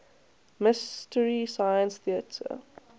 mystery science theater